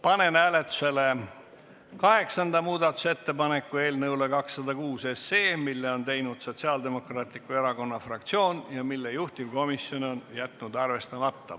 Panen hääletusele kaheksanda muudatusettepaneku eelnõu 206 kohta, mille on teinud Sotsiaaldemokraatliku Erakonna fraktsioon ja mille juhtivkomisjon on jätnud arvestamata.